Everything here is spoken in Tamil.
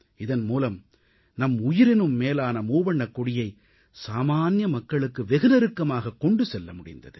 இதன் மூலம் நம் உயிரினும் மேலான மூவண்ணக் கொடியை சாமான்ய மக்களுக்கு வெகு நெருக்கமாக கொண்டு செல்ல முடிந்தது